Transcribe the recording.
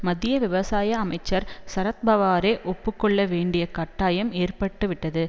மத்திய விவசாய அமைச்சர் சரத்பவாரே ஒப்பு கொள்ள வேண்டிய கட்டாயம் ஏற்பட்டுவிட்டது